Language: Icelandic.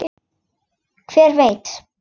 Hver veit?